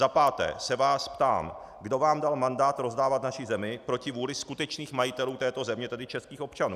Za páté se vás ptám, kdo vám dal mandát rozdávat naši zemi proti vůli skutečných majitelů této země, tedy českých občanů.